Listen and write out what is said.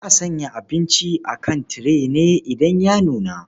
Za a sanya abinci a kan tire ne idan ya nuna.